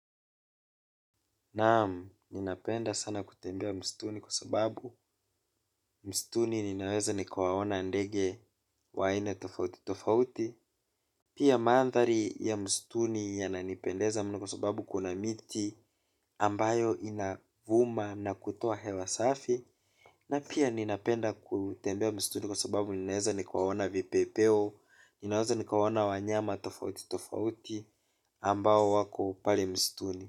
Naam, ninapenda sana kutembea msituni kwa sababu msituni ninaweza nikawaona ndege wa aina tofautitofauti. Pia mandhari ya msituni yananipendeza mno kwa sababu kuna miti ambayo inavuma na kutuo hewa safi. Na pia ninapenda kutembea msituni kwa sababu ninaweza nikawaona vipepeo. Ninaweza nikawaona wanyama tofautitofauti ambao wako pale msituni.